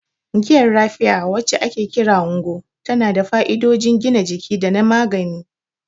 Giyar Raffia, wacce ake kira "Ngwo," tana da fa'idodin gina jiki da na magani.